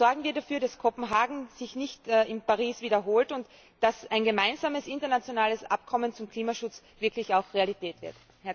Sorgen wir dafür, dass Kopenhagen sich nicht in Paris wiederholt und dass ein gemeinsames internationales Abkommen zum Klimaschutz wirklich auch Realität wird.